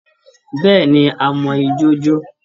Bẹ́ẹ̀́ẹ̀ ni, a mọ ijó jó